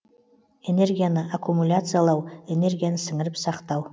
энергияны аккумуляциялау энергияны сіңіріп сақтау